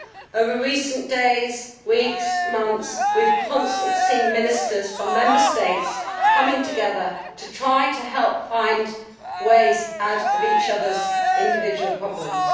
Over recent days, weeks and months, we have constantly seen ministers from Member States coming together to try to help find ways out of each other's individual problems.